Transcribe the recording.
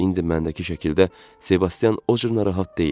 İndi məndəki şəkildə Sebastian o cür narahat deyil.